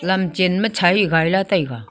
lam chenma chahi gari la taega.